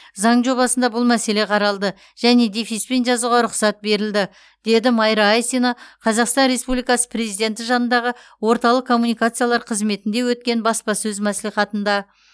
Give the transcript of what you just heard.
заң жобасында бұл мәселе қаралды және дефиспен жазуға рұқсат берілді деді майра айсина қазақстан республикасы президенті жанындағы орталық коммуникациялар қызметінде өткен баспасөз мәслихатында